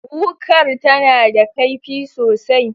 Wukar tana da kaifi sosai.